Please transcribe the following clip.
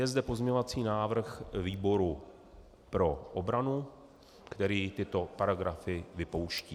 Je zde pozměňovací návrh výboru pro obranu, který tyto paragrafy vypouští.